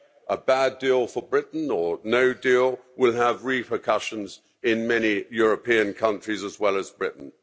A bad deal for Britain or no deal will have repercussions in many European countries as well as Britain.